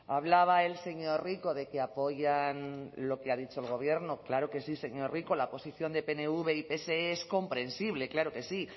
hablaba el señor rico de que apoyan lo que ha dicho el gobierno claro que sí señor rico la posición de pnv y pse es comprensible claro que sí